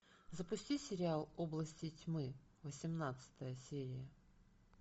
запусти сериал области тьмы восемнадцатая серия